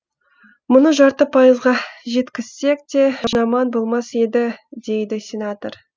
мұны жарты пайызға жеткізсек те жаман болмас еді дейді сенатор